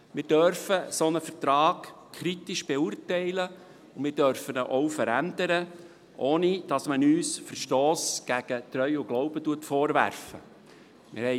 Wir dürfen einen solchen Vertrag kritisch beurteilen, und wir dürfen ihn auch verändern, ohne dass man uns einen Verstoss gegen Treu und Glauben vorwerfen kann.